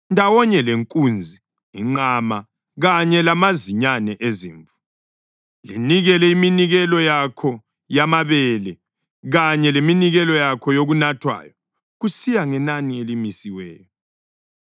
Ndawonye lenkunzi, inqama kanye lamazinyane ezimvu, linikele iminikelo yakho yamabele kanye leminikelo yakho yokunathwayo kusiya ngenani elimisiweyo.